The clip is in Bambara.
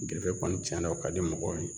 Gerefe kɔni tiɲɛna o ka di mɔgɔw ye